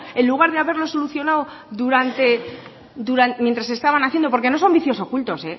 en lugar de haber solucionado durante mientras estaban haciendo porque no son vicios ocultos